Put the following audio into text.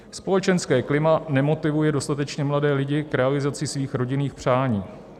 Společenské klima nemotivuje dostatečně mladé lidi k realizaci svých rodinných přání.